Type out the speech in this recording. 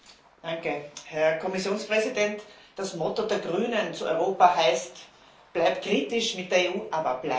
Herr Präsident, Herr Kommissionspräsident! Das Motto der Grünen zu Europa heißt Bleib´ kritisch mit der EU, aber bleib´!